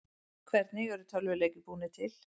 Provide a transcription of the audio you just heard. Hvernig eru tölvuleikir búnir til?